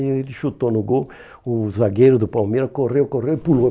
Ele chutou no gol, o zagueiro do Palmeiras correu, correu e pulou.